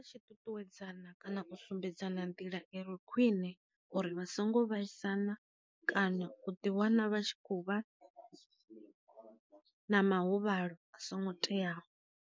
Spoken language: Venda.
Tshi ṱuṱuwedzana kana u sumbedza na nḓila iri khwine uri vha songo vhaisana, kana u ḓi wana vha tshi khou vha na mahuvhalo a songo teaho.